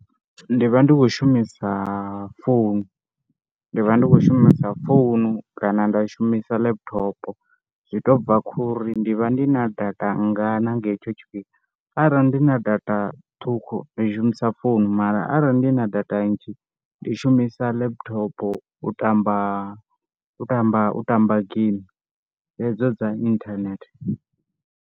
Ndi vha ndi khou shumisa founu, ndi vha ndi khou shumisa founu kana nda shumisa laptop zwi tou bva khou ri ndi vha ndi na data ngana nga hetsho tshifhinga, arali ndi na data ṱhukhu ndi shumisa founu mara arali ndi na data nnzhi ndi shumisa laptop u tamba u tamba u tamba game hedzo dza inthanethe.